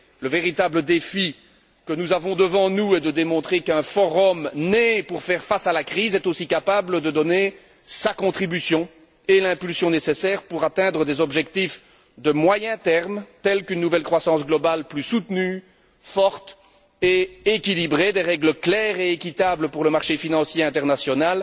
Le véritable défi que nous avons devant nous est de démontrer qu'un forum né pour faire face à la crise est aussi capable de donner sa contribution et l'impulsion nécessaire pour atteindre des objectifs à moyen terme tels qu'une nouvelle croissance globale plus soutenue, forte et équilibrée, des règles claires et équitables pour le marché financier international,